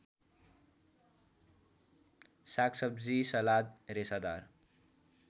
सागसब्जी सलाद रेसादार